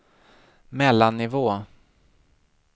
mellannivå